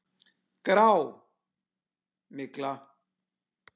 Grá. mygla!